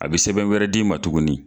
A bi sɛbɛn wɛrɛ di m'a tuguni